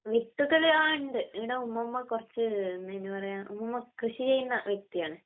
വിത്തുകള്..ആ..ഉണ്ട്, ഇവിടെ ഉമ്മുമ്മ കുറച്ച്....നെന്താ അതിന് പറയ്ക... ഉമ്മുമ്മ കൃഷി ചെയ്യുന്ന വ്യക്തിയാണ്.